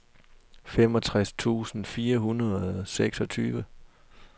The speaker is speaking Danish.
femogtres tusind fire hundrede og seksogtyve